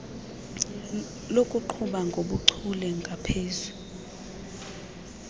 lokuqhuba ngobuchule ngaphezu